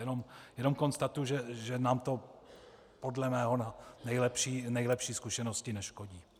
Jenom konstatuji, že nám to podle mé nejlepší zkušenosti neškodí.